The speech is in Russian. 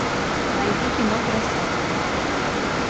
найди кино красотка